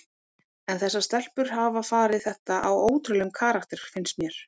En þessar stelpur hafa farið þetta á ótrúlegum karakter finnst mér.